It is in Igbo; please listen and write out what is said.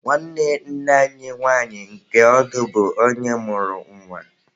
Nwanne nne anyi nwanyị nke ọdụ bụ onye mụrụ nwa.